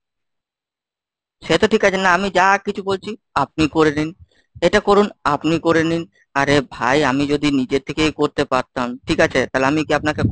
সে তো ঠিক আছে। না আমি যা কিছু বলছি, আপনি করে নিন। এটা করুন, আপনি করে নিন। আরে ভাই আমি যদি নিজে থেকেই করতে পারতাম ঠিক আছে, তাহলে আমি গিয়ে আপনাকে